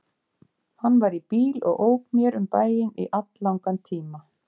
Hann var í bíl og ók mér um bæinn í alllangan tíma.